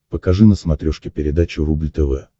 покажи на смотрешке передачу рубль тв